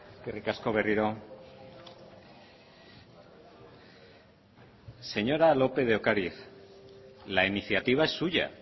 eskerrik asko berriro señora lópez de ocariz la iniciativa es suya